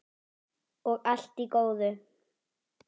Og allt í góðu.